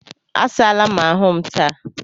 Asaa la m ahụ m taa